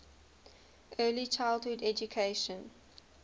early childhood education